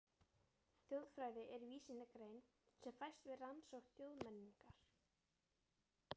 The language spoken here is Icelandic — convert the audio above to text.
Þjóðfræði er vísindagrein sem fæst við rannsókn þjóðmenningar.